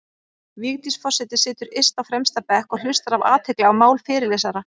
Vigdís forseti situr yst á fremsta bekk og hlustar af athygli á mál fyrirlesara.